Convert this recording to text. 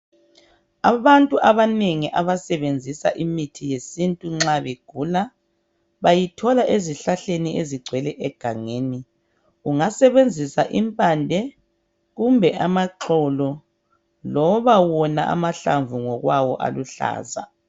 Abantu abanengi abasebenzisa imithi yesintu nxa begula bayithola ezihlahleni ezigcwele egangeni. Ungasebenzisa impande kumbe amaxolo loba wona amahlamvu ngokwayo aluhlaza.